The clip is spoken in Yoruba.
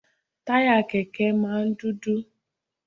Táyà Kẹ̀kẹ́ máa ń dúdú.